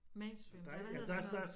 Mainstream eller hvad hedder sådan noget